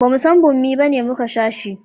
bamu san bommi bane muka sha shi